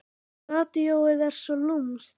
Radíóið er svo lúmskt.